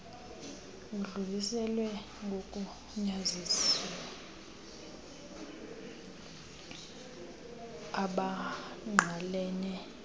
edluliselwe kogunyaziwe abangqalene